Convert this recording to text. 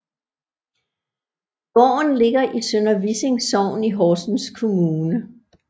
Gården ligger i Sønder Vissing Sogn i Horsens Kommune